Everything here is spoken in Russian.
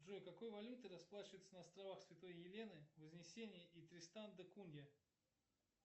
джой какой валютой расплачиваются на островах святой елены вознесения и тристан да кунья